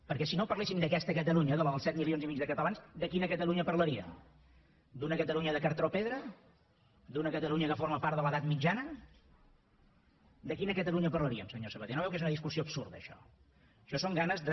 perquè si no parléssim d’aquesta catalunya de la dels set milions i mig de catalans de quina catalunya parlaríem d’una catalunya de cartró pedra d’una catalunya que forma part de l’edat mitjana de quina catalunya parlaríem senyor sabaté no veu que és una discussió absurda això això són ganes de